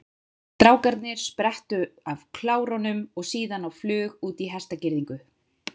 Strákarnir sprettu af klárunum og síðan á flug út í hestagirðingu.